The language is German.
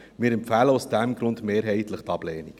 Wir empfehlen aus diesem Grund mehrheitlich die Ablehnung.